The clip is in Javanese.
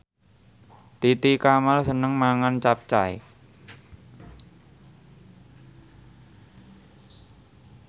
Titi Kamal seneng mangan capcay